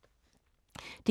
DR1